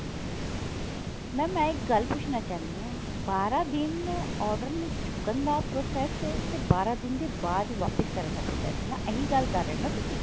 mam ਮੈਂ ਇੱਕ ਗੱਲ ਪੁੱਛਣਾ ਚਾਹੁੰਦੀ ਹਾਂ ਬਾਰਾਂ ਦਿਨ order ਨੂੰ ਚੁੱਕਣ ਦਾ process ਹੈ ਤੇ ਬਾਰਾਂ ਦਿਨ ਦੇ ਬਾਅਦ ਵਾਪਿਸ ਕਰਨ ਦਾ process ਹੈ ਨਾ ਇਹੀ ਗੱਲ ਕਰ ਰਿਹੇ ਨਾ ਤੁਸੀਂ